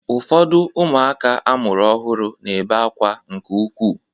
Ụfọdụ ụmụaka amụrụ ọhụrụ na-ebe akwa nke ukwuu.